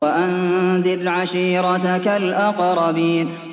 وَأَنذِرْ عَشِيرَتَكَ الْأَقْرَبِينَ